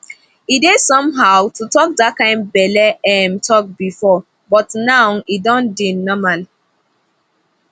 e dey somehow to talk that kind belle um talk before but now e don dey normal